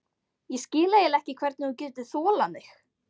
Ég skil eiginlega ekki hvernig þú getur þolað mig.